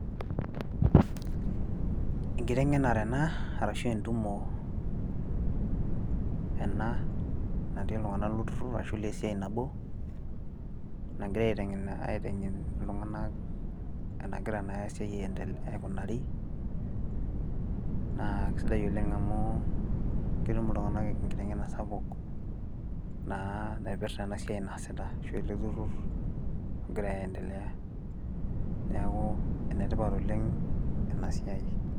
Enkiteng'enare ena ashu entumo ena natii iltung'anka lolturrur ashu ilesiai nabo nagirai aiteng'en iltung'anak enagira naa esiai aikunari naa kesidai oleng' amu ketum iltung'anak enkiteng'enare sapuk naa naipirta ena siai naasita ashu ele turrur ogira aiendelea neeku enetipat oleng' ena siai.